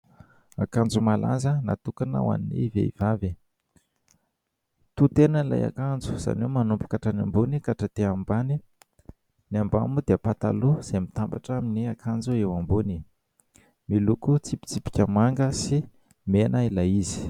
Akanjo malaza natokana ho an'ny vehivavy. To-tena ilay akanjo, izany hoe manomboka hatrany ambony ka hatraty ambany. Ny ambany moa dia pataloha izay mitambatra amin'ny akanjo eo ambony. Miloko tsipika manga sy mena ilay izy.